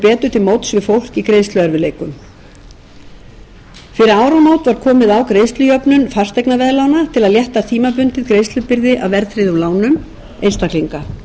til móts við fólk í greiðsluerfiðleikum fyrir áramót var komið á greiðslujöfnun fasteignaveðlána til að létta tímabundið greiðslubyrði af verðtryggðum lánum einstaklinga ég ætla ekki að rekja frekar hvað hefur þegar verið gert